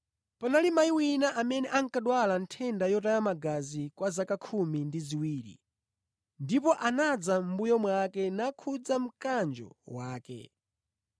Panali mayi wina amene ankadwala nthenda yotaya magazi kwa zaka khumi ndi ziwiri ndipo anadza mʼmbuyo mwake nakhudza mkanjo wake.